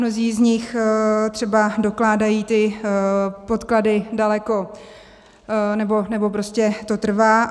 Mnozí z nich třeba dokládají ty podklady daleko - nebo prostě to trvá.